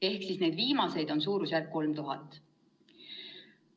Ehk siis viimaseid on suurusjärguna 3000.